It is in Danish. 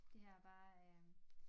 Det her er bare øh